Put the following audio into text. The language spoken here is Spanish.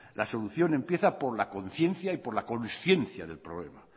la solución empieza por la conciencia y por la conciencia del problema